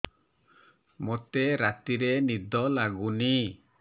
ମୋତେ ରାତିରେ ନିଦ ଲାଗୁନି